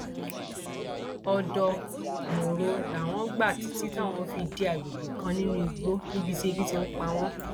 ọdọ mòro làwọn gbà títí táwọn fi dé àgbègbè kan nínú igbó níbi tí ebi ti ń pa wọn